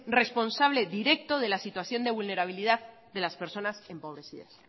responsable directo de la situación de vulnerabilidad de las personas empobrecidas